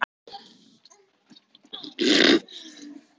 Það er ekki sama blóðið í okkur.